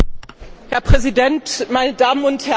Herr Präsident, meine Damen und Herren!